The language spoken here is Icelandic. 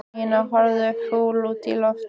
Nína horfði fúl út í loftið.